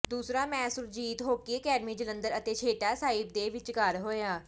ਦੂਸਰਾ match Surjit hockey academy Jalandhar ਅਤੇ ਛੇਹਰਟਾ ਸਾਹਿਬ ਦੇ ਵਿਚਕਾਰ ਹੋਇਆ